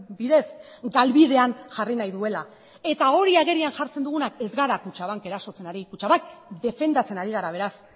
bidez galbidean jarri nahi duela eta hori agerian jartzen dugunak ez gara kutxabank erasotzen ari kutxabank defendatzen ari gara beraz